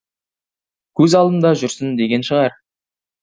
көз алдымда жүрсін деген шығар